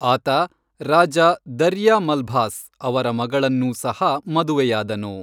ಆತ ರಾಜ ದರ್ಯಾ ಮಲ್ಭಾಸ್ ಅವರ ಮಗಳನ್ನೂ ಸಹ ಮದುವೆಯಾದನು.